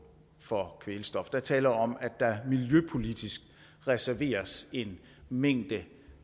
for kvælstof er tale om at der miljøpolitisk reserveres en mængde